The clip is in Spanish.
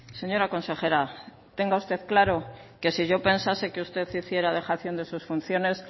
señora consejera tenga usted claro que si yo pensase que usted hiciera dejación de sus funciones